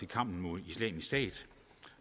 kampen mod islamisk stat